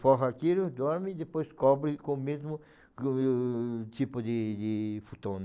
Forra aquilo, dorme e depois cobre com o mesmo tipo de de futon.